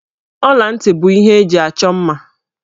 Ọla ntị bụ ihe eji achọ mma.